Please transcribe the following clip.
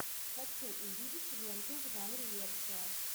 хочу увидеть ленту в жанре лекция